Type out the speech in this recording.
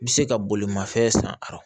I bɛ se ka bolimafɛn san a